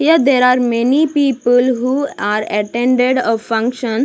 here there are many people who are attended a function.